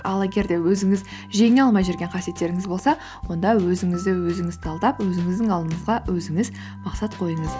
ал егер де өзіңіз жеңе алмай жүрген қасиеттеріңіз болса онда өзіңізді өзіңіз талдап өзіңіздің алдыңызға өзіңіз мақсат қойыңыз